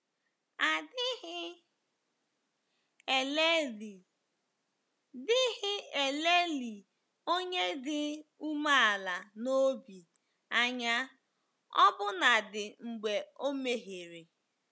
A dịghị elelị dịghị elelị onye dị umeala n’obi anya ọbụnadi mgbe o mehiere.